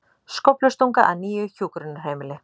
Skóflustunga að nýju hjúkrunarheimili